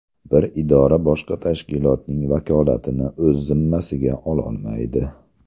Bir idora boshqa tashkilotning vakolatini o‘z zimmasiga ololmaydi.